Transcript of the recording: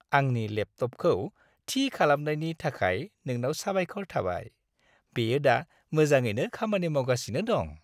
आंनि लेपटपखौ थि खालामनायनि थाखाय नोंनाव साबायखर थाबाय। बेयो दा मोजाङैनो खामानि मावगासिनो दं।